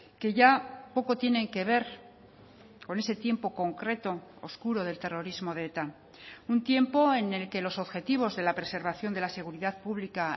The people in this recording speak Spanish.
que ya poco tienen que ver con ese tiempo concreto oscuro del terrorismo de eta un tiempo en el que los objetivos de la preservación de la seguridad pública